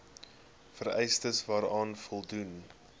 vereistes waaraan voldoen